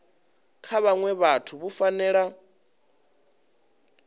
kha vhaṅwe vhathu vhu fanela